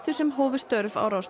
sem hófu störf á Rás